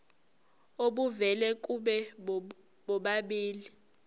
obuvela kubo bobabili